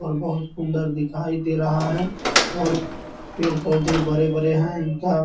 और बहुत सुंदर दिखाई दे रहा है और पेड़-पौधे बड़े-बड़े है इनका --